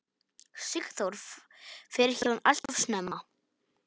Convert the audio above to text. Sigþór fer héðan alltof snemma.